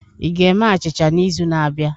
Ị ga-eme achịcha n'izu na-abịa?